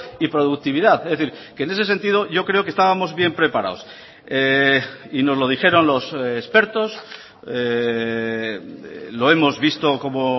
y productividad es decir que en ese sentido yo creo que estábamos bien preparados y nos lo dijeron los expertos lo hemos visto como